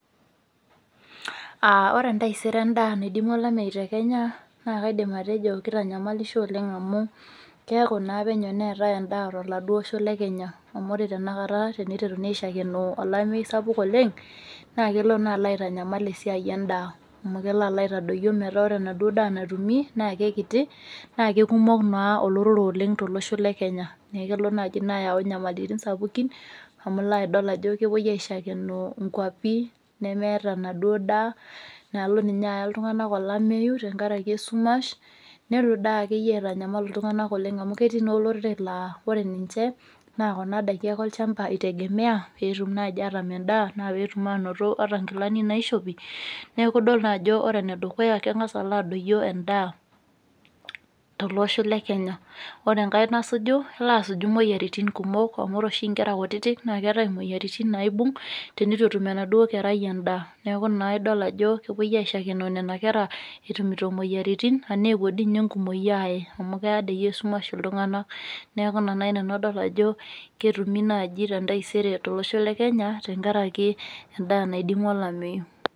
Uh ore entaisere endaa naidimua olameyu te kenya naa kaidim atejo kitanyamalisho oleng amu keeku naa penyo neetae endaa toladuo osho le kenya amu ore tena kata teneiteruni aishakenoo olamei sapuk oleng naa kelo naa alo aitanyamal esiai endaa amu kelo alo aitadoyio metaa ore enaduo daa natumi naa kekiti naa kekumok naa olorere oleng tolosho le kenya nekelo naaji ina ayau inyamalitin sapukin amu ilo adol ajo kepuo aishakenoo inkuapi nemeeta enaduo daa nalo ninye aaya iltung'anak olameyu tenkarake esumash nelo daa akeyie aitanyamal iltung'anak oleng amu ketii naa olorere laa ore ninche naa kuna daiki ake olchamba eitegemea peetum naaji atam endaa anaa peetum anoto ata nkilani naishopi neku idolta ajo ore enedukuya keng'as alo adoyio endaa tolosho le kenya ore enkae nasuju naasuj imoyiaritin kumok amu ore oshi inkera kutitik naa keetae imoyiaritin naibung tenetu etum enaduo kerai endaa neku naa idol ajo kepuoi aishakenoo nena kera epuo etumito imoyiaritin anaa epuo dinye enkumoki aaye amu keya dei esumash iltung'anak neku ina naaji nanu adol ajo ketumi naaji tentaisere tolosho le kenya tenkaraki endaa naidimua olameyu.